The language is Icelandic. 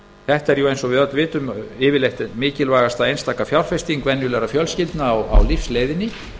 þetta er eins og við öll vitum yfirleitt mikilvægasta einstaka fjárfesting einstakra fjölskyldna á lífsleiðinni